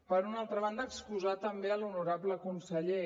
per una altra banda excusar també l’honorable conseller